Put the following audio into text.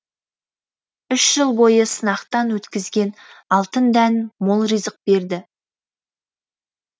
үш жыл бойы сынақтан өткізген алтын дән мол ризық берді